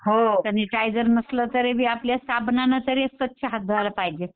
हो जरी काय जरी नसलं तरी आपल्या साबणाने तरी स्वच्छ हात धुवायला पाहिजे.